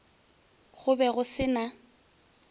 go be go se na